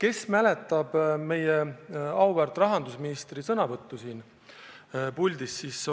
Ehk mäletate meie auväärt rahandusministri sõnavõttu, millega ta siin puldis esines?